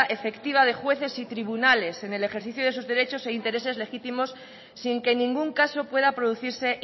efectiva de jueces y tribunales en el ejercicio de esos derechos e intereses legítimos sin que en ningún caso pueda producirse